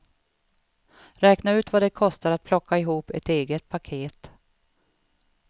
Räkna ut vad det kostar att plocka ihop ett eget paket.